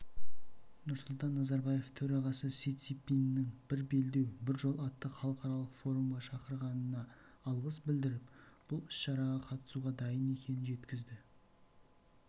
нұрсұлтан назарбаев төрағасы си цзиньпиннің бір белдеу бір жол атты халықаралық форумға шақырғанына алғыс білдіріп бұл іс-шараға қатысуға дайын екенін жеткізді